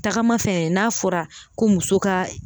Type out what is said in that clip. Tagama fɛnɛ n'a fɔra ko muso ka